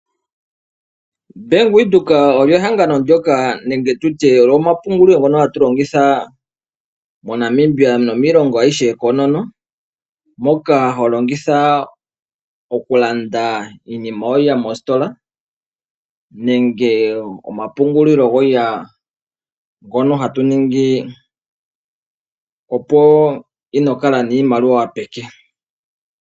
Ombaanga yaWindhoek oyo ehangano ndyoka nenge tutye ogo omapungulilo ngoka hatu longitha moNamibia nomiilongo ayihe koonono. Moka holongitha okulanda iinima yoye mositola nenge omapungulilo goye ngono hatu ningi opo inokala niimaliwa peke.